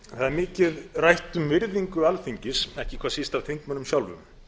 er mikið rætt um virðingu alþingis ekki hvað síst af þingmönnum sjálfum